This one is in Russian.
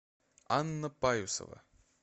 анна паюсова